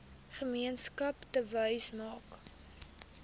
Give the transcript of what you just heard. gemeenskap touwys maak